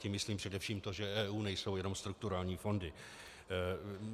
Tím myslím především to, že EU nejsou jenom strukturální fondy.